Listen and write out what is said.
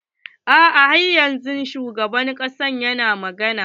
A'a har yanzun shugaban ƙasa yana magana.